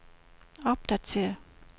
opdatér